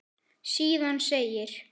Síðan segir